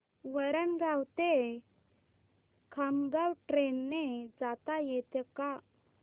वरणगाव ते खामगाव ट्रेन ने जाता येतं का